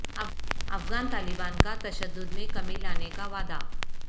افغان طالبان کا تشدد میں کمی لانے کا وعدہ